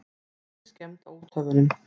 Engin skemmd á úthöfunum.